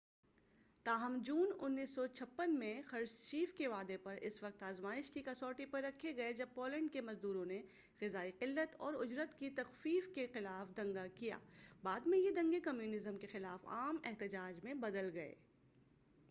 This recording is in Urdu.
تاہم جون 1956 میں خرشچیف کے وعدے اس وقت آزمائش کی کسوٹی پر رکھے گئے جب پولینڈ کے مزدوروں نے غذائی قلت اور اجرت کی تخفیف کے خلاف دنگا کیا بعد میں یہ دنگے کمیونزم کے خلاف عام احتجاج میں بدل گئے